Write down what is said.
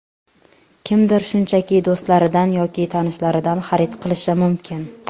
Kimdir shunchaki do‘stlaridan yoki tanishlaridan xarid qilishi mumkin.